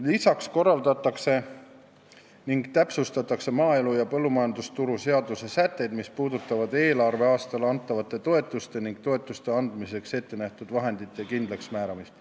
Lisaks korrastatakse ning täpsustatakse maaelu ja põllumajandusturu seaduse sätteid, mis puudutavad eelarveaastal antavate toetuste ning toetuste andmiseks ettenähtud vahendite kindlaksmääramist.